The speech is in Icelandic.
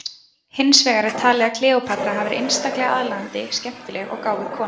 Hins vegar er talið að Kleópatra hafi verið einstaklega aðlaðandi, skemmtileg og gáfuð kona.